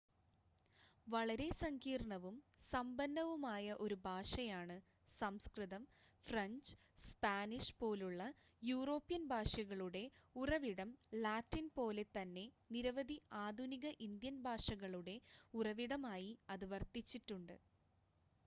വളരെ സങ്കീർണ്ണവും സമ്പന്നവുമായ ഒരു ഭാഷയാണ് സംസ്കൃതം ഫ്രഞ്ച് സ്പാനിഷ് പോലുള്ള യൂറോപ്യൻ ഭാഷകളുടെ ഉറവിടം ലാറ്റിൻ പോലെ തന്നെ നിരവധി ആധുനിക ഇന്ത്യൻ ഭാഷകളുടെ ഉറവിടമായി അത് വർത്തിച്ചിട്ടുണ്ട്